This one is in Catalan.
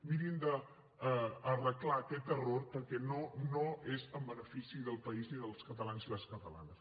mirin d’arreglar aquest error perquè no no és en benefici del país ni dels catalans ni les catalanes